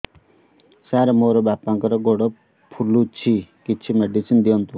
ସାର ମୋର ବାପାଙ୍କର ଗୋଡ ଫୁଲୁଛି କିଛି ମେଡିସିନ ଦିଅନ୍ତୁ